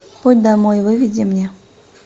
путь домой выведи мне